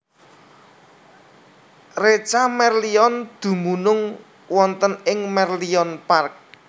Reca Merlion dumunung wonten ing Merlion Park